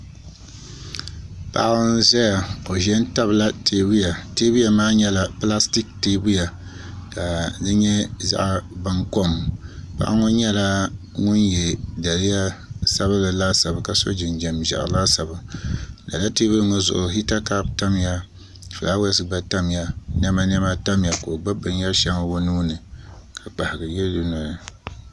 Paɣa n-ʒaya o ʒa n-tabila teebuya teebuya maa nyɛla pilasitiiki teebuya ka di nyɛ zaɣ’ baŋkom paɣa ŋɔ nyɛla ŋuni ye daliya sabinli laasabu ka so jinjam ʒiɛɣu laasabu lala teebuli ŋɔ zuɣu hiita kɔpu tamya fulaawasi gba tamya nɛmanɛma tamya ka o gbubi binyɛr’ shɛŋa o nuu ni ka kpahigu yili dunoli ni